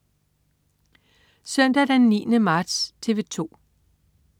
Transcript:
Søndag den 9. marts - TV 2: